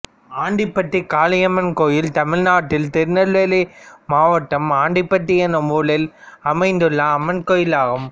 ஆண்டிப்பட்டி காளியம்மன் கோயில் தமிழ்நாட்டில் திருநெல்வேலி மாவட்டம் ஆண்டிப்பட்டி என்னும் ஊரில் அமைந்துள்ள அம்மன் கோயிலாகும்